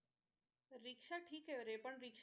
रिक्षा ठिकरे पण ऱिक्ष~